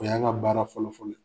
O y'an ŋa baara fɔlɔ-fɔlɔ ye.